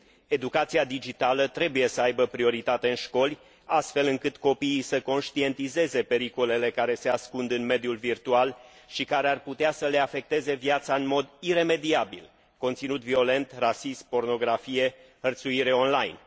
Educația digitală trebuie să aibă prioritate în școli, astfel încât copiii să conștientizeze pericolele care se ascund în mediul virtual și care ar putea să le afecteze viața în mod iremediabil conținut violent, rasism, pornografie, hărțuire online.